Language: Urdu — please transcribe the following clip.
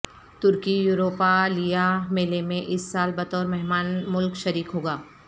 ترکی یوروپالیا میلے میں اس سال بطور مہمان ملک شریک ہوگا